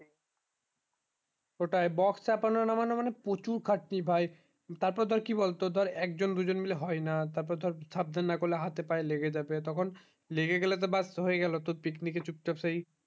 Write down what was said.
ওটাই box চাপানো নামানো মানে প্রচুর খাটনি ভাই তার পর ধর কি বল তো তোর এক জন দুই জন মিলে হয় না তা পর ধর সাবধান না করলে হাথে পায়ে লেগে যাবে তখন লেগে গেলে ব্যাস হয়ে গেলো তোর picnic কে চুপ চাপ সেই